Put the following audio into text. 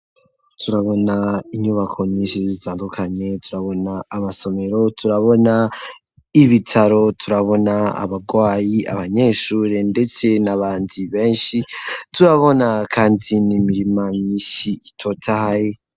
Turabona inyubako nyinshi zitandukanye ,turabona amasomero, turabona ibitaro ,turabona abagwayi, abanyeshure ndetse n'abandi benshi, turabona kandi n'imirima myishi itotahe.